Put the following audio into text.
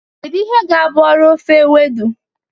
Kedu ihe ga-abụ ọrụ ofe Ewedu?